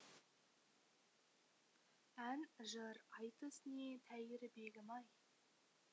ән жыр айтыс не тәйірі бегімай